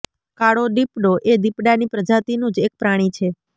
કાળો દીપડો એ દીપડાની પ્રજાતિનું જ એક પ્રાણી છે